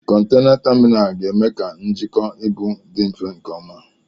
Kọntena taminalu ga-eme ka njikwa ibu dị mfe nke ọma.